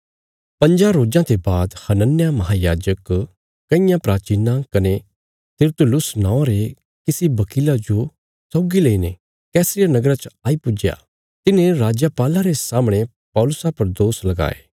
पंज्जां रोज़ां ते बाद हनन्याह महायाजक कईयां प्राचीनां कने तिरतुलुस नौआं रे किसी वकीला जो सौगी लईने कैसरिया नगरा च आई पुज्या तिन्हें राजपाला रे सामणे पौलुसा पर दोष लगाये